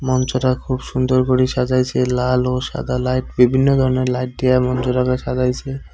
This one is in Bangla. মঞ্চটা খুব সুন্দর করে সাজাইসে লাল ও সাদা লাইট বিভিন্ন ধরনের লাইট দিয়া মঞ্চটাকে সাজাইসে।